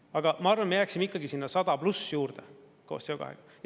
Aga ma arvan, et me jääksime ikkagi sinna 100 pluss juurde koos CO2-ga.